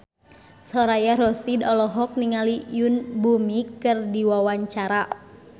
Soraya Rasyid olohok ningali Yoon Bomi keur diwawancara